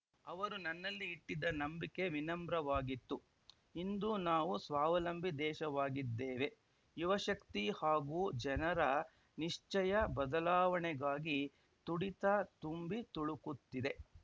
ಅವರು ನನ್ನಲ್ಲಿ ಇಟ್ಟಿದ್ದ ನಂಬಿಕೆ ವಿನಮ್ರವಾಗಿತ್ತು ಇಂದು ನಾವು ಸ್ವಾವಲಂಬಿ ದೇಶವಾಗಿದ್ದೇವೆ ಯುವಶಕ್ತಿ ಹಾಗೂ ಜನರ ನಿಶ್ಚಯ ಬದಲಾವಣೆಗಾಗಿ ತುಡಿತ ತುಂಬಿ ತುಳುಕುತ್ತಿದೆ